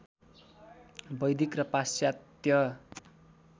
वैदिक र पाश्चात्य